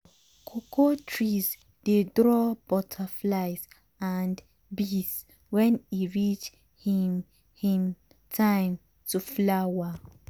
cocoa trees dey draw butterflies and bees when e reach him him time to flower.